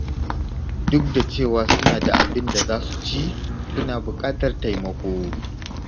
Duk da cewa suna da abin da za su ci, suna buƙatar taimako.